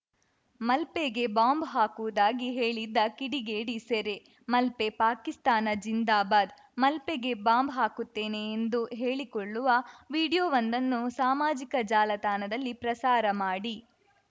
ಮಲ್ಪೆಗೆ ಬಾಂಬ್‌ ಹಾಕುವುದಾಗಿ ಹೇಳಿದ್ದ ಕಿಡಿಗೇಡಿ ಸೆರೆ ಮಲ್ಪೆ ಪಾಕಿಸ್ತಾನ್‌ ಜಿಂದಾಬಾದ್‌ ಮಲ್ಪೆಗೆ ಬಾಂಬ್‌ ಹಾಕುತ್ತೇನೆ ಎಂದು ಹೇಳಿಕೊಳ್ಳುವ ವಿಡಿಯೋವೊಂದನ್ನು ಸಾಮಾಜಿಕ ಜಾಲತಾಣದಲ್ಲಿ ಪ್ರಸಾರ ಮಾಡಿ